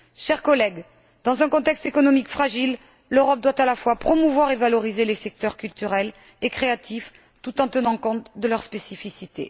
Chers collègues, dans un contexte économique fragile, l'Europe doit à la fois promouvoir et valoriser les secteurs culturels et créatifs, tout en tenant compte de leurs spécificités.